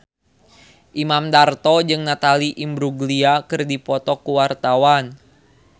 Imam Darto jeung Natalie Imbruglia keur dipoto ku wartawan